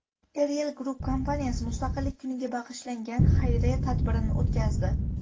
Eriell Group kompaniyasi Mustaqillik kuniga bag‘ishlangan xayriya tadbirini o‘tkazdi.